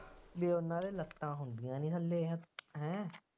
ਬਈ ਉਹਨਾ ਦੇ ਲੱਤਾਂ ਹੁੰਦੀਆਂ ਖਨੀ ਇਹੋ ਜਿਹੀਆਂ ਹੈਂ